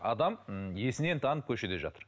адам м есінен танып көшеде жатыр